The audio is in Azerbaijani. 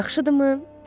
Yaxşıdımı?